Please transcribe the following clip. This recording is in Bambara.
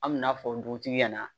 An me n'a fɔ dugutigi ɲɛna